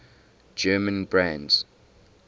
german brands